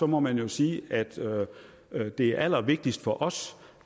må man jo sige at det er allervigtigst for os